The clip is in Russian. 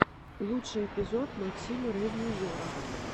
лучший эпизод максима ревью зора